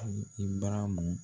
Ibaramu